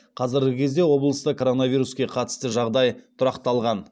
қазіргі кезде облыста коронавируске қатысты жағдай тұрақталған